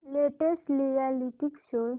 latest reality show